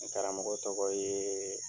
N karamɔgɔ tɔgɔ ye